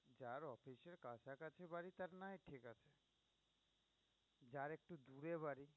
যার একটু দূরে বাড়ি